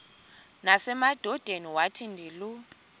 nasemadodeni wathi ndilu